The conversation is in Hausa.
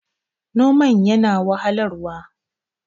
noman yana da wahalarwa